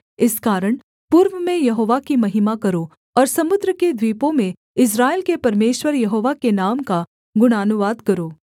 इस कारण पूर्व में यहोवा की महिमा करो और समुद्र के द्वीपों में इस्राएल के परमेश्वर यहोवा के नाम का गुणानुवाद करो